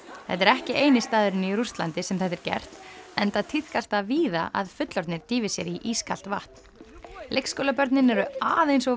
þetta er ekki eini staðurinn í Rússlandi sem þetta er gert enda tíðkast það víða að fullorðnir dýfi sér í ískalt vatn leikskólabörnin eru aðeins of